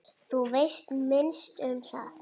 Þú veist minnst um það.